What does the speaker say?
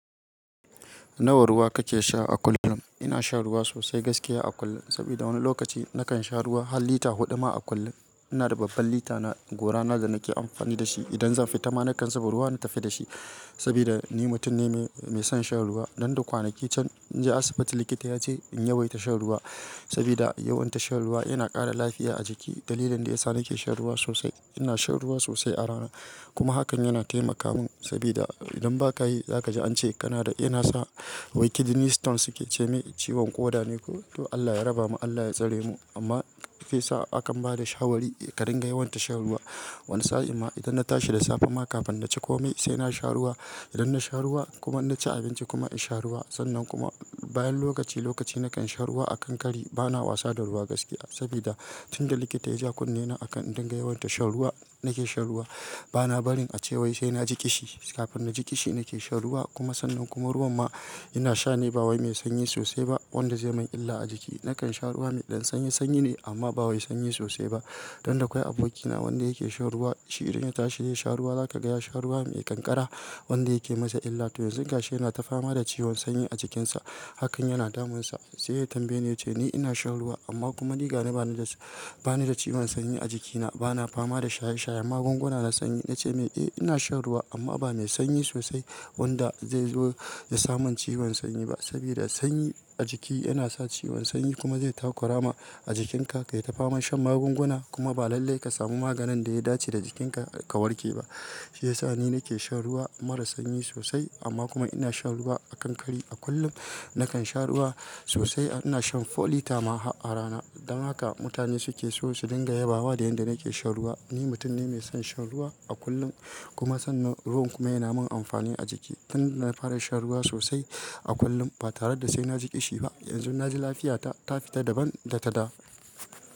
Nawa ruwa kake sha a kullum? Ina sha ruwa sosai gaskiya a kullum, sabida wani lokaci nakan sha ruwa har lita huɗu ma a kullum. Ina da babban lita na gora na da nake amfani da shi idan zan fita, ma na kan saba ruwa na tafi da shi sabida ni mutum ne mai son shan ruwa. Nan da kwanaki can, na je asibiti likita ya ce in yawaita shan ruwa sabida yawan shan ruwa yana ƙara lafiya a jiki. Dalilin da ya sa nake shan ruwa sosai, ina shan ruwa sosai a rana kuma hakan yana taimaka mun sabida idan ba ka yi za ka ji an ce kana da, ina sa wai kidney Stone suke ce mai ciwon ƙoda ne ko? To Allah ya raba mu, Allah ya tsare mu. Amma shi yasa hakan ba da shawari ka dinga yawaita shan ruwa. Wani sa'a ma idan na tashi da safe ma kafin na ci komai, sai na sha ruwa. Idan na sha ruwa kuma na ci abinci kuma in sha ruwa. Sannan kuma bayan lokaci lokaci na kan sha ruwa a kankare. Ba na wasa da ruwa gaskiya sabida tun da likita ya ji kunnena a kan in dinga yawaita shan ruwa, nake shan ruwa. Ba na barin a ce wai sai na ji kishi. Kafin na ji kishi nake shan ruwa kuma sannan kuma ruwan ma ina sha ne ba waye mai sanyi sosai ba wanda zai min illa a jiki. Nakan sha ruwa mai ɗan sanyi, sanyi ne amma ba waye sanyi sosai ba. Dan da akwai abokina wanda yake shan ruwa, shi idan ya tashi ya sha ruwa za ka ga ya sha ruwa mai ƙanƙara wanda yake masa illa. To yanzu ga shi yana tafama da ciwon sanyi a jikinsa. Hakan yana damunsa. Sai ya tambaye ya ce ni ina shan ruwa amma kuma ni ga na bani da, bani da ciwon sanyi a jikina. Ba na fama da shaye shaye magunguna na sanyi. Na ce mai, eh ina shan ruwa amma ba mai sanyi sosai wanda zai zo ya sa mun ciwon sanyi ba sabida sanyi a jiki yana sa ciwon sanyi kuma zai takura ma a jikinka ka yi tafama shan magunguna kuma ba lallai ka samu maganin da ya dace da jikinka ka warke ba. Shi ya sa ni nake shan ruwa mara sanyi sosai amma kuma ina shan ruwa a kankare. A kullum nakan sha ruwa sosai. Ina shan lita hudu ma a rana. Don haka mutane suke so su dinga yabawa da yanda nake shan ruwa. Ni mutum ne mai son shan ruwa a kullum kuma sannan ruwan kuma yana mun amfani a jiki. Tun da na fara shan ruwa sosai a kullum ba tare da sai na ji kishi ba, yanzu na ji lafiyata ta fita dabam da ta da.